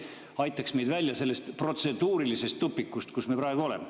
See aitaks meid välja sellest protseduurilisest tupikust, kus me praegu oleme.